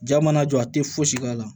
Ja mana jɔ a tɛ fosi k'a la